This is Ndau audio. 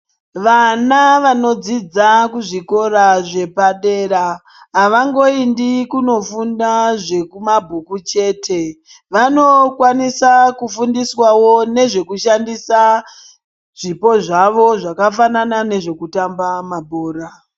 Vana vanodzidza kuzvikora zvepadera avangoindi kunofunda zvekumabhuku chete vanokwanisa kufundiswawo nezvekushandisa zvipo zvavo zvakafanana nezvekutamba makura.